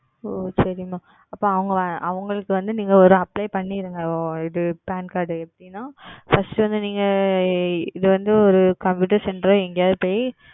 ஓ சரி Mam அப்பொழுது அவர்களுக்கு அவர்களுக்கு வந்து ஓர் நீங்கள் Apply செய்திடுங்கள் ஆஹ் இது Pan Card எப்படி என்றால் First வந்து நீங்கள் இது வந்து Computer Centre ஓ இல்லை வந்து எங்கயாவது சென்று